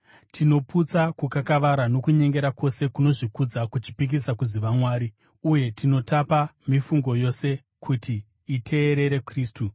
Tinoputsa kukakavara nokunyengera kwose kunozvikudza kuchipikisa kuziva Mwari, uye tinotapa mifungo yose kuti iteerere Kristu.